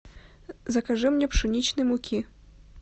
закажи мне пшеничной муки